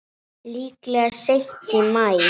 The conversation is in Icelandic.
Líklega seint í maí.